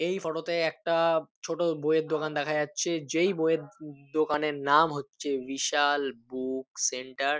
এই ফটো -তে একটা ছোট বইয়ের দোকান দেখা যাচ্ছে। যেই বইয়ের দ-দোকানের নাম হচ্ছে বিশাল বুক সেন্টার ।